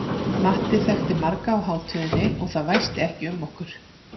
Matti þekkti marga á hátíðinni og það væsti ekki um okkur.